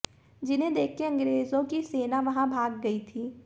जिन्हें देखकर अंग्रेजों की सेना वहां भाग गई थी